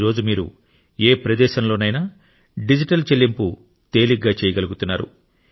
ఈ రోజు మీరు ఏ ప్రదేశంలోనైనా డిజిటల్ చెల్లింపు తేలికగా చేయగలుగుతున్నారు